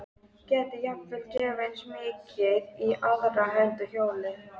Gæti jafnvel gefið eins mikið í aðra hönd og hjólið!